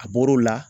A bɔr'o la